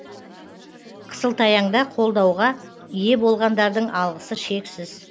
қысылтаяңда қолдауға ие болғандардың алғысы шексіз